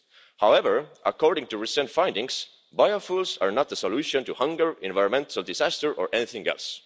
However, according to recent findings biofuels are not the solution to hunger, environmental disasters or anything else.